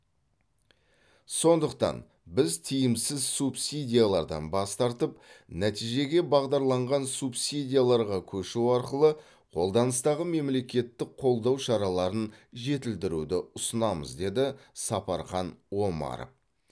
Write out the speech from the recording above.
сондықтан біз тиімсіз субсидиялардан бас тартып нәтижеге бағдарланған субсидияларға көшу арқылы қолданыстағы мемлекеттік қолдау шараларын жетілдіруді ұсынамыз деді сапархан омаров